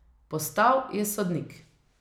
Postal je sodnik ...